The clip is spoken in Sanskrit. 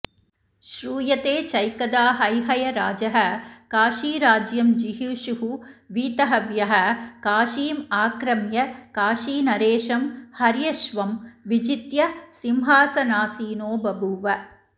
श्रूयते चैकदा हैहयराजः काशीराज्यं जिगीषुः वीतहव्यः काशीम् आक्रम्य काशीनरेशं हर्यश्वं विजित्य सिंहासनासीनो बभूव